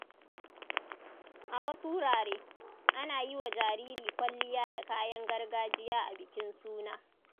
A wasu wurare, ana yi wa jariri kwalliya da kayan gargajiya a bikin suna.